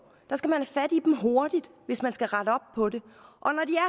skal man have fat i dem hurtigt hvis man skal rette op år de